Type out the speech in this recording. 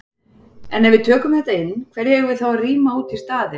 En ef við tökum þetta inn, hverju eigum við þá að rýma út í staðinn?